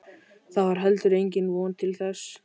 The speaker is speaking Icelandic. Það var heldur engin von til þess.